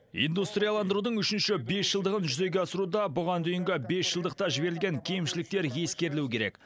индустрияландырудың үшінші бесжылдығын жүзеге асыруда бұған дейінгі бесжылдықта жіберілген кемшіліктер ескерілуі керек